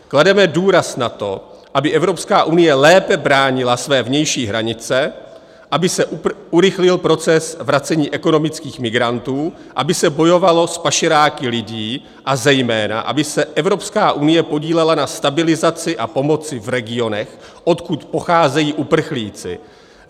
Klademe důraz na to, aby Evropská unie lépe bránila své vnější hranice, aby se urychlil proces vracení ekonomických migrantů, aby se bojovalo s pašeráky lidí a zejména aby se Evropská unie podílela na stabilizaci a pomoci v regionech, odkud pocházejí uprchlíci.